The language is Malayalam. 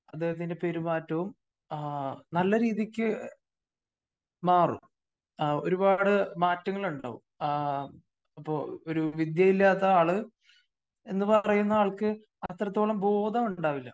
അദ്ദേഹത്തിന്റെ പെരുമാറ്റവും നല്ല രീതിക്ക് മാറും. ഒരുപാട് മാറ്റങ്ങൾ ഉണ്ടാകും.ആ അപ്പോ ഒരു വിദ്യ ഇല്ലാത്ത ആള് എന്ന് പറയുന്ന ആൾക്ക് അത്രത്തോളം ബോധമുണ്ടാകില്ല.